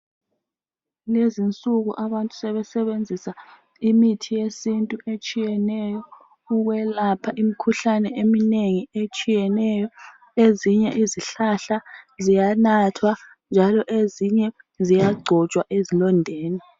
Lezinsuku abantu sebesebenzisa imithi yesintu etshiyeneyo ukwelapha imikhuhlane eminengi etshiyeneyo, ezinye izihlala ziyanathwa njalo ezinye ziyagcotshwa ezilondeni